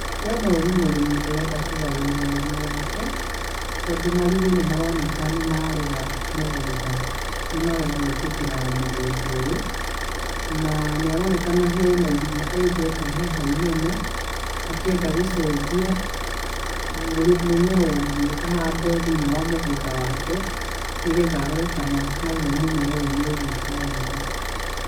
Ndĩrona ũyũ nĩ mũrĩmi ũrenda kũgarũrĩra ũrĩmi wake, tondũ marigu nĩ maroneka nĩmarega mũgũnda, nĩ marega gwĩtĩkĩra mũgũnda ũyũ, na nĩ aronekana hena irima enjete haha inene, akĩenda gũcenjia, mũrĩ, mũmera ũngĩ ahande thĩiniĩ wa mũgũnda wake, nĩgetha arore kana naguo mũmera ũyũ nĩ ũgwĩka wega.